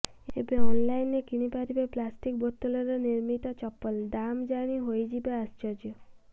ଏବେ ଅନଲାଇନରେ କିଣି ପାରିବେ ପ୍ଲାଷ୍ଟିକ ବୋତଲରେ ନିର୍ମିତ ଚପଲ ଦାମ ଜାଣି ହୋଇଯିବେ ଆଶ୍ଚର୍ଯ୍ୟ